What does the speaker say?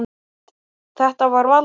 Þetta var Valdi.